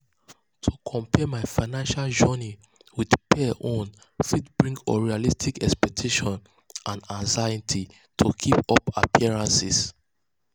to compare my financial journey with peers own fit bring unrealistic expectations and anxiety to keep up appearances.